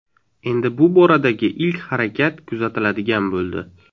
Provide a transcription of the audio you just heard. Endi bu boradagi ilk harakat kuzatiladigan bo‘ldi.